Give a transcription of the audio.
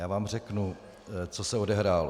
Já vám řeknu, co se odehrálo.